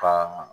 Ka